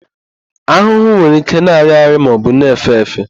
Ahụhụ nwere ike na-arị arị maọbụ na-èfé èfé.